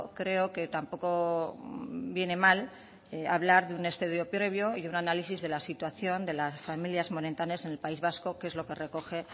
creo que tampoco viene mal hablar de un estudio previo y un análisis de la situación de las familias monoparentales en el país vasco que es lo que recoge